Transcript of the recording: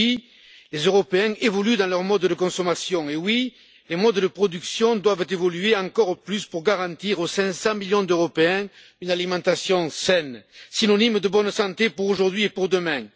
Oui, les Européens évoluent dans leurs modes de consommation, et oui, les modes de production doivent évoluer encore plus pour garantir aux 500 millions d'Européens une alimentation saine, synonyme de bonne santé pour aujourd'hui et pour demain.